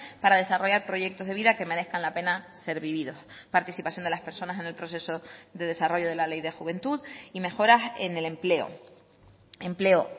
para desarrollar proyectos de vida que merezcan la pena ser vividos participación de las personas en el proceso de desarrollo de la ley de juventud y mejoras en el empleo empleo